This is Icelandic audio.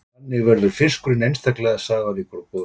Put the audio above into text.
Þannig verður fiskurinn einstaklega safaríkur og góður.